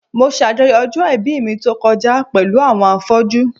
Mo ṣajọyọ̀ ọjọ́ ìbí mi tó kọjá pẹ̀lú àwọn afọ́jú.